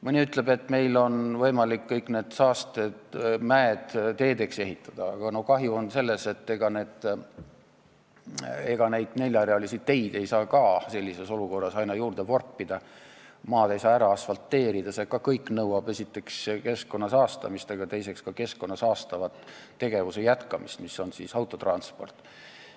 Mõni ütleb, et meil on võimalik kõik need saastemäed teedeks ehitada, aga ega neid neljarealisi teid ei saa ka sellises olukorras aina juurde vorpida, kogu maad ei saa ära asfalteerida, see kõik nõuab esiteks keskkonna saastamist ja teiseks ka keskkonda saastava tegevuse jätkamist ehk autotransporti.